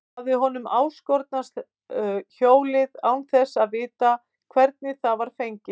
Hafði honum áskotnast hjólið án þess að vita hvernig það var fengið?